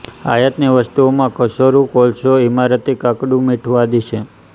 આયાતની વસ્તુઓં માં કચું રૂ કોલસો ઇમારતી કાકડું મીઠું આદિ છે